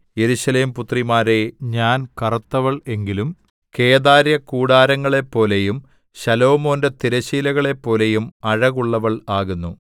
യെരൂശലേം പുത്രിമാരേ ഞാൻ കറുത്തവൾ എങ്കിലും കേദാര്യ കൂടാരങ്ങളെപ്പോലെയും ശലോമോന്റെ തിരശ്ശീലകളെപ്പോലെയും അഴകുള്ളവൾ ആകുന്നു